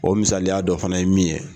O misaliya dɔ fana ye min ye.